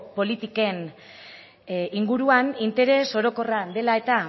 politiken inguruan interes orokorra dela eta